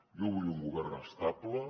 jo vull un govern estable